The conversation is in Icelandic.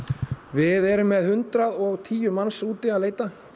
við erum með hundrað og tíu manns úti að leita